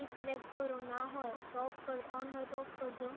એ select કરો, ના હોય તો on હોય તો off કરી દો.